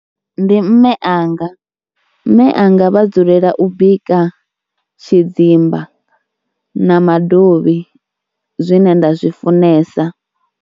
Ndi mme anga, mme anga vha dzulela u bika tshidzimba na madovhi zwine nda zwi funesa.